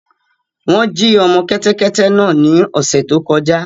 Wọn jí ọmọ kẹtẹkẹtẹ náà ni ọṣẹ tó kọ̀jà